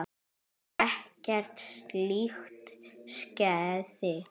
En ekkert slíkt skeði.